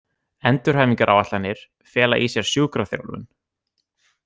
Endurhæfingaráætlanir fela í sér sjúkraþjálfun.